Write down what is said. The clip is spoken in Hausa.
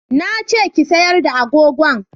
Na ce ki sayar da agogon!